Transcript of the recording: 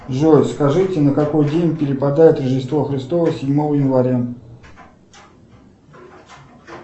джой скажите на какой день перепадает рождество христово седьмого января